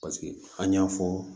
Paseke an y'a fɔ